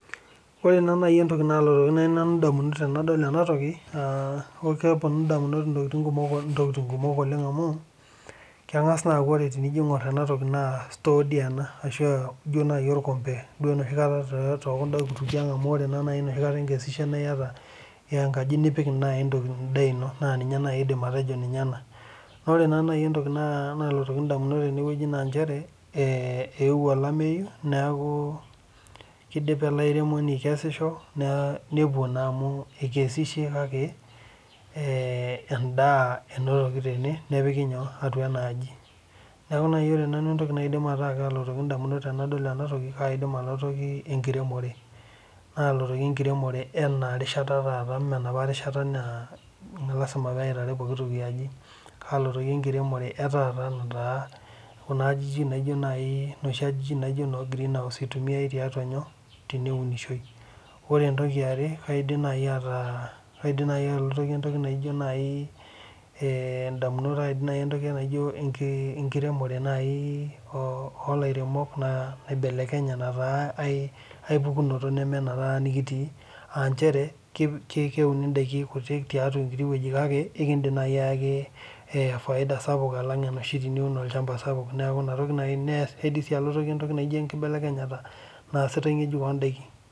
Ore naa naai entoki naalotoki naai nanu indamunot enadol ena toki naa kepwonu indamunot intokiting kumok oleng amu keng'as naa aaku tenijo aing'urr ena toki naa store dii ena ashu ijo naai orkombe duo enoshi kata tookunda kutukie ang' naa enoshi kata ikesishe naa iyata enkaji nipik naai intokiting naa ninye naai aidim atejo ninye ena. Ore naa nai entoki nalotoki indamunot tene naa nchere eewuo olameyu neeku idipa ele airemoni aikesisho nepwo naa amu ekesishe kake endaa enotoki tene nepiki atea enaaji. Neeku naai ore entoki nalotoki indamunot tenadol ena toki na kalotoki enkiremore. Aalotoki enkiremore ena rishata taata mee enopa rishata naa lazima peitaari pooki toki aji. Kalotoki enkiremore e taata kuna ajijik naai, noshi ajijik naaijo ine greenhouse naitumiai teneunishoi. Ore entoki iare naidim naai ataa kaidim naai atolotoki entoki naijo naai indamunot enkiremore naai oo lairemok oibelekenye naa aipukunoto nemee ena taata nekitii aa nchere ketii ndaiki kuti tiatwa enkiti wueji kake aikindim naai ayaki faida sapuk alang teniun olchamba sapuk. Neeku ina toki naai aidim sii atalotoki entoki naijo enkibelekenyata naasitai ng'ejuk oondaiki